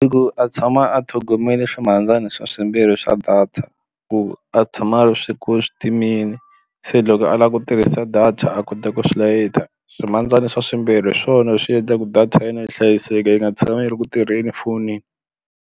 I ku a tshama a tlhogomeli swimhandzani swimbirhi swa data ku a tshama a ri swi ku swi timeni se loko a lava ku tirhisa data a kota ku swi layita swivandzani swa swimbirhi hi swona swi endlaku data ya yena yi hlayiseka yi nga tshama yi ri ku tirheni fonini.